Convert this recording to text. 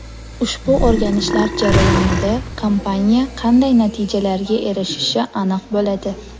Ushbu o‘rganishlar jarayonida kompaniya qanday natijalarga erishishi aniq bo‘ladi.